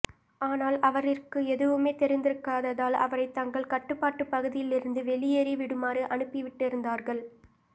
ஆனால் அவரிற்கு எதுவுமே தெரிந்திருக்காததால் அவரை தங்கள் கட்டுப்பாட்டு பகுதியில் இருந்து வெளியெறி விடுமாறு அனுப்பி விட்டிருந்தார்கள்